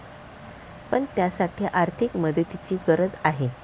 पण, त्यासाठी आर्थिक मदतीची गरज आहे.